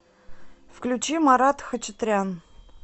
включи марат хачатрян